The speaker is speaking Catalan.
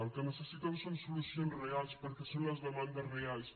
el que necessiten són solucions reals perquè són les demandes reals